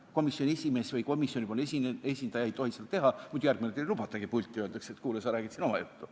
Komisjoni esimees või komisjoni esindaja ei tohiks seda teha, muidu järgmine kord ei lubatagi pulti, öeldakse, et kuule, sa räägid siin oma juttu.